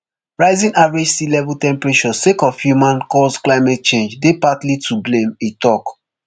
rising average sea level temperatures sake of humancaused climate change dey partly to blame e tok